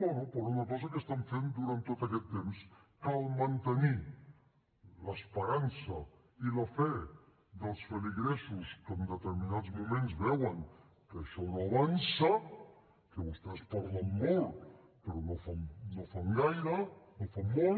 bé per una cosa que estan fent durant tot aquest temps cal mantenir l’esperança i la fe dels feligresos que en determinats moments veuen que això no avança que vostès parlen molt però no fan gaire no fan molt